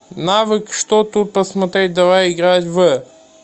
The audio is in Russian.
навык что тут посмотреть давай играть в